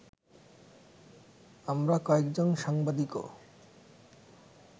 আমরা কয়েকজন সাংবাদিকও